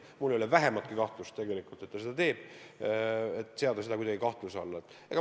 Mul ei ole vähimatki kahtlust, et ta seda esindab.